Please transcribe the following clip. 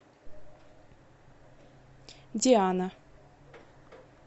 диана